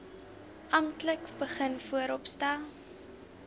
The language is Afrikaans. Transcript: amptelik begin vooropstel